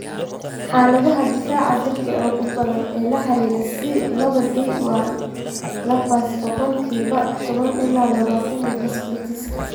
Xaaladaha difaaca jirka ee ugu badan ee la xiriira C laba D waa lupus (boqolkiba toban ila labatan) iyo vasculitiska.